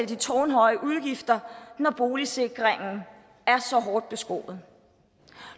de tårnhøje udgifter når boligsikringen er så hårdt beskåret